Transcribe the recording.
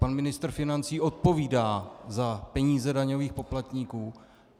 Pan ministr financí odpovídá za peníze daňových poplatníků.